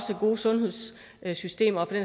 gode sundhedssystemer